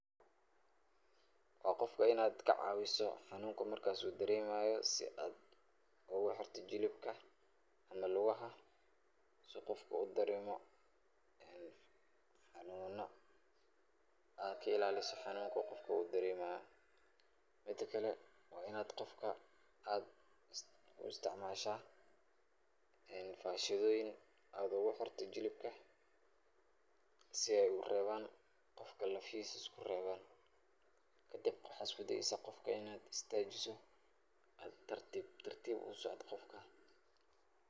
Waa qofka inaad kacaawiso hanuunka markaas uu dareemayo si aad ugu xirto jilibka ama lugaha si qofka udareemo hanuun aad ka ilaaliso hanuunka qofka uu dareemayo. Midakale, waa inaad qofka aad uisticmaalaysaa fashidooyin aad ugu xirto jilibka si ay u reeban qofka lafihiisa usku reeban. Kadib waxaa usku deyeysaa qofka inaad istaajiso, ad tartiib tartiib u socoto qofka.